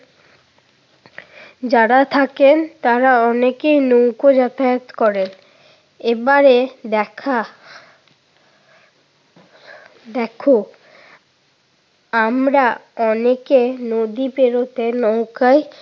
যারা থাকেন তারা অনেকেই নৌকোয় যাতায়াত করে। এবারে দেখা দেখো আমরা অনেকে নদী পেরুতে নৌকায়